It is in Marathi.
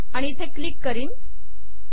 आणि इथे क्लिक करीन